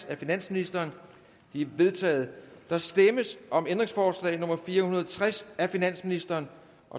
af finansministeren de er vedtaget der stemmes om ændringsforslag nummer fire hundrede og tres af finansministeren